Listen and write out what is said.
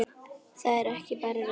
Það er ekki bara röddin.